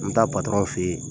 N taa fɛ ye.